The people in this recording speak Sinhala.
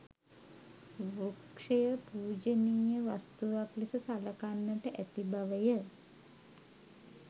වෘක්‍ෂය පූජනීය වස්තුවක් ලෙස සලකන්නට ඇති බවය.